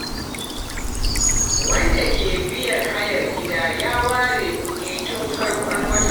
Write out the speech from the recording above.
Wanda ke biyan hayar gida ya ware kuɗi tun farkon wata.